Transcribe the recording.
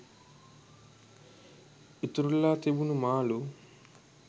ඉතුරු වෙලා තිබුණු මාළු